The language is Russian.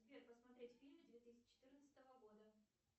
сбер посмотреть фильмы две тысячи четырнадцатого года